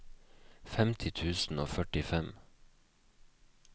femti tusen og førtifem